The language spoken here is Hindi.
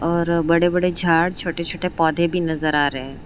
और बड़े बड़े झाड़ छोटे छोटे पौधे भी नजर आ रहे हैं।